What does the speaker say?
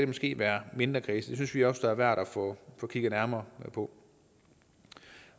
måske være mindre kredse det synes vi også er værd at få kigget nærmere på